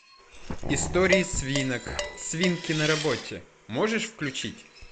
истории свинок свинки на работе можешь включить